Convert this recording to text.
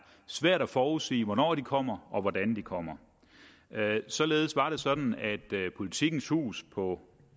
svært at forudsige hvornår de kommer og hvordan de kommer således var det sådan at politikens hus på